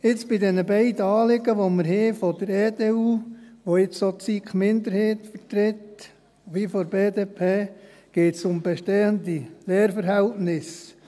Jetzt, bei diesen beiden Anliegen, die wir haben vonseiten der EDU haben, die jetzt auch von der SiKMinderheit und von der BDP vertreten werden, geht es um bestehende Lehrverhältnisse.